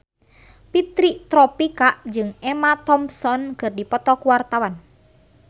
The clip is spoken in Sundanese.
Fitri Tropika jeung Emma Thompson keur dipoto ku wartawan